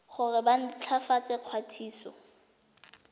gore ba nt hwafatse ikwadiso